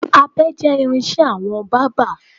Abẹ jẹ́ irin-iṣẹ́ àwọn bábà.